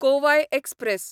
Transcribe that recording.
Kovai express